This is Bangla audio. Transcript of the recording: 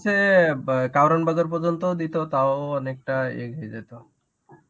হচ্ছে দিত. তাও অনেকটা এগিয়ে যেত.